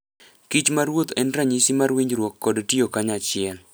Kich ma ruoth en ranyisi mar winjruok kod tiyo kanyachiel.